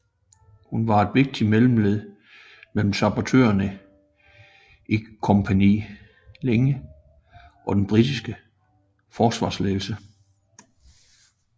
Hun var et vigtigt mellemled mellem sabotørene i Kompani Linge og den britiske forsvarsledelse